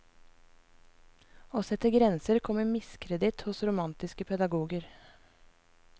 Å sette grenser kom i miskreditt hos romantiske pedagoger.